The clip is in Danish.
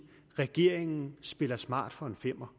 regeringen spiller smart for en femmer